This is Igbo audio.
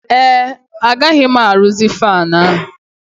Ee, agaghị m arụzi fanụ ahụ.